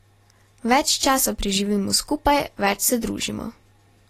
Več časa preživimo skupaj, več se družimo.